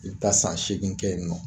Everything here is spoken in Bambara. I bi taa san seegin kɛ yen nɔ